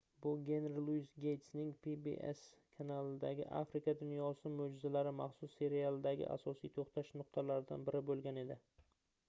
bu genri luis geystning pbs kanalidagi afrika dunyosi moʻjizalari maxsus serialidagi asosiy toʻxtash nuqtalaridan biri boʻlgan edi